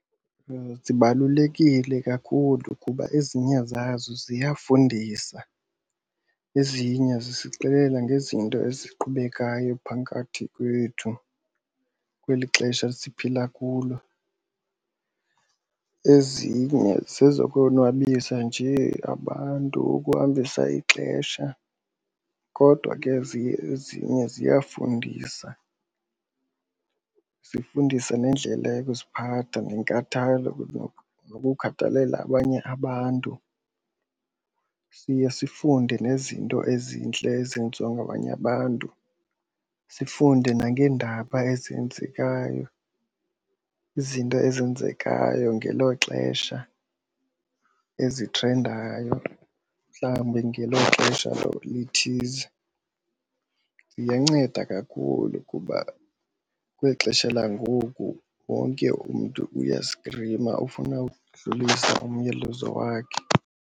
Zibalulekile kakhulu kuba ezinye zazo ziyafundisa ezinye zisixelela ngezinto eziqhubekayo phakathi kwethu kweli xesha siphila kulo. Ezinye zezokonwabisa njee abantu ukuhambisa ixesha kodwa ke ezinye ziyafundisa. Zifundisa nendlela yokuziphatha nenkathalo nokukhathalela abanye abantu, siye sifunde nezinto ezintle ezenziwa ngabanye abantu. Sifunde nangeendaba ezenzekayo, izinto ezenzekayo ngelo xesha ezithrendayo mhlawumbi ngelo xesha lithize. Ziyanceda kakhulu kuba kweli xesha langoku wonke umntu uyastrima ufuna udlulisa umyalezo wakhe.